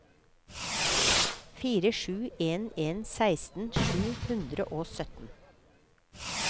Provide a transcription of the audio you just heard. fire sju en en seksten sju hundre og sytten